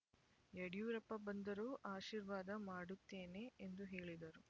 ಯಡಿಯೂರಪ್ಪ ಬಂದರೂ ಆಶೀರ್ವಾದ ಮಾಡುತ್ತೇನೆ ಎಂದು ಹೇಳಿದರು